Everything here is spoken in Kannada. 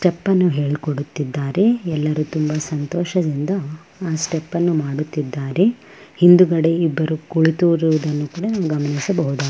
ಸ್ಟೆಪ್ಪನ್ನು ಹೇಳ್ಕೊಡುತ್ತಿದ್ದಾರೆ ಎಲ್ಲರೂ ತುಂಬ ಸಂತೋಷದಿಂದ ಆ ಸ್ಟೆಪ್ಪನ್ನು ಮಾಡುತ್ತಿದ್ದಾರೆ. ಹಿಂದ್ಗಡೆ ಇಬ್ಬರು ಕುಳಿತಿರುವುದನ್ನು ಕೂಡ ನಾವು ಗಮನಿಸಬಹುದಾಗಿದೆ.